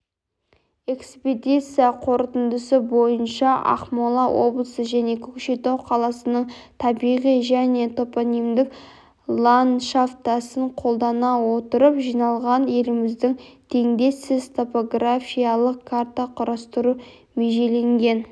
экспедиция қорытындысы бойынша ақмола облысы және көкшетау қаласының табиғи және топонимдік ланшафтасын қолдана отырып жиналған елімізде теңдессіз топографиялық карта құрастыру межеленген